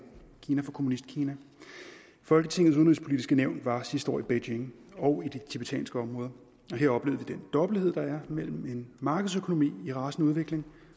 kina for kommunistkina folketingets udenrigspolitiske nævn var sidste år i beijing og i de tibetanske områder her oplevede vi den dobbelthed der er mellem en markedsøkonomi i rasende udvikling